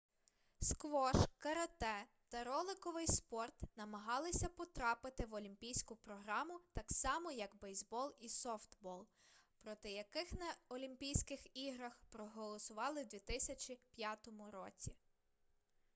сквош карате та роликовий спорт намагалися потрапити в олімпійську програму так само як бейсбол і софтбол проти яких на олімпійських іграх проголосували в 2005 році